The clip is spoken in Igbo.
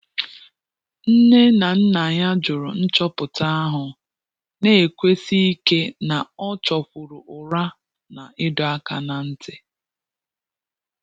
Nné nà nná yá jụ́rụ̀ nchọ́pụ́tà áhụ́, nà-ékwúsí íké nà ọ́ chọ́kwùrù ụ́rà nà ị́dọ́ áká n’á ntị́.